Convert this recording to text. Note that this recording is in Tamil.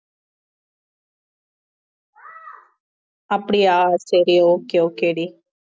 அப்படியா சரி okay okay டி